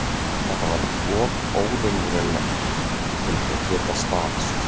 Þetta var of óraunverulegt til að geta staðist.